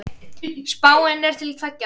Spáin er til tveggja ára.